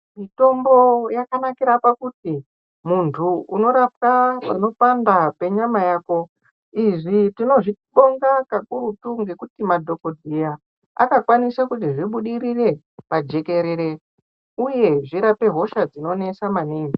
Mitombo yakanakira pakuti muntu unorapwe panopanda penyama yako izvi tinozvibonga kakurutu ngekuti madhokodheya akakwanise kuti zvibudirire pajekerere uye zvirape hosha dzinonesa maningi .